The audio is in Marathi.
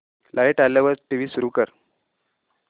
लाइट आल्यावर टीव्ही सुरू कर